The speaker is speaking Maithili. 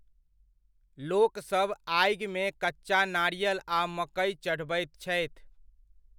लोकसब आगिमे कच्चा नारियल आ मकै चढ़बैत छथि।